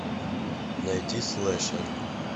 найди слэшер